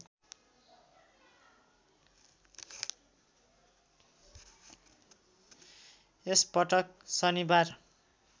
यसपटक शनिबार